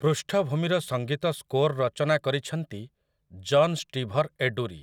ପୃଷ୍ଠଭୂମିର ସଙ୍ଗୀତ ସ୍କୋର୍ ରଚନା କରିଛନ୍ତି ଜନ୍ ଷ୍ଟିଭର୍ ଏଡୁରି ।